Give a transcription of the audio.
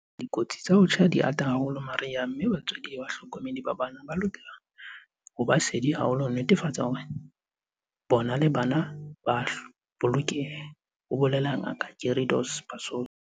"Dikotsi tsa ho tjha di ata haholo mariha mme batswadi le bahlokomedi ba bana ba lokela ho ba sedi haholo ho netefatsa hore bona le bana ba a bolokeha," ho bolela Ngaka Gary Dos Passos.